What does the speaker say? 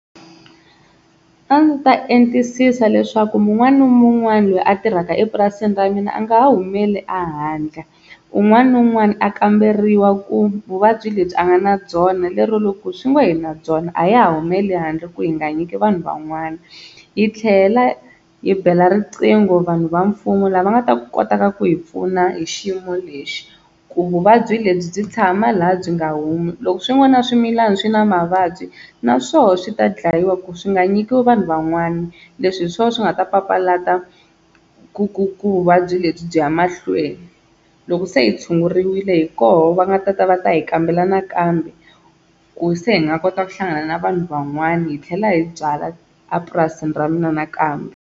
A ndzi ta entisisa leswaku un'wana na un'wana loyi a tirhaka epurasini ra mina a nga ha humeli ehandle un'wana na un'wana a kamberiwa ku vuvabyi lebyi a nga na byona, lero loko swi ngo hi na byona a ha ha humele handle ku hi nga nyiki vanhu van'wana. Hi tlhela yi bela riqingho vanhu va mfumo lava va nga ta kotaka ku hi pfuna hi xiyimo lexi ku vuvabyi lebyi byi tshama laha byi nga humi. Loko swin'wana swimilana swi na mavabyi na swona swi ta dlayiwa ku swi nga nyikiwi vanhu van'wana. Leswi hi swona swi nga ta papalata ku ku ku vuvabyi lebyi byi ya mahlweni. Loko se hi tshunguriwile hi koho va nga ta ta va ta hi kambela nakambe ku se hi nga kota ku hlangana na vanhu van'wana hi tlhela hi byala a purasini ra mina nakambe.